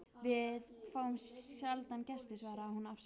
Við fáum sjaldan gesti svaraði hún afsakandi.